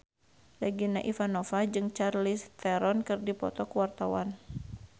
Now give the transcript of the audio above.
Regina Ivanova jeung Charlize Theron keur dipoto ku wartawan